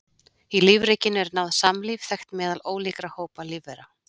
Í lífríkinu er náið samlífi þekkt meðal ólíkra hópa lífvera.